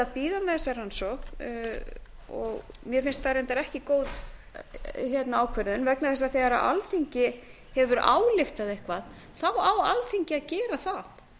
bíða með þessa rannsókn og mér finnst það reyndar ekki góð ákvörðun vegna þess að þegar alþingi hefur ályktað eitthvað þá á alþingi að gera það